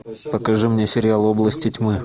покажи мне сериал области тьмы